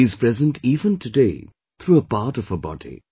She is present even today through a part of her body